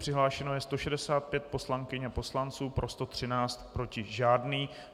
Přihlášeno je 165 poslankyň a poslanců, pro 113, proti žádný.